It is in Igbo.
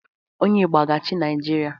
Onye Igbo a ga-achị Naijiria?